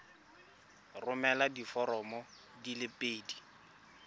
romela diforomo di le pedi